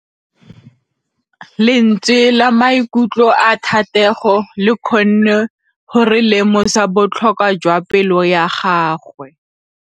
Lentswe la maikutlo a Thategô le kgonne gore re lemosa botlhoko jwa pelô ya gagwe.